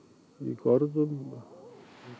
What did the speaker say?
görðum